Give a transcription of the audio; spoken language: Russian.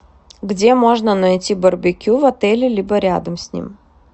где можно найти барбекю в отеле либо рядом с ним